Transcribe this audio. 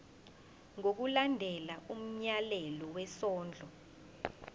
ngokulandela umyalelo wesondlo